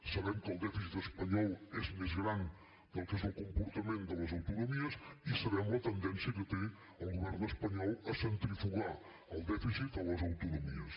sabem que el dèficit espanyol és més gran del que és el comportament de les autonomies i sabem la tendència que té el govern espanyol a centrifugar el dèficit a les autonomies